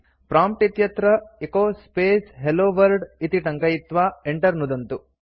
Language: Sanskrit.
प्रॉम्प्ट् इत्यत्र एचो स्पेस् हेल्लो वर्ल्ड इति टङ्कयित्वा enter नुदन्तु